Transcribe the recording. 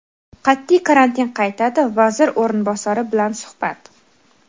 qat’iy karantin qaytadi - Vazir o‘rinbosari bilan suhbat.